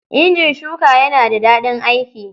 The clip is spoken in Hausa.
Injin shuka yana da daɗin aiki.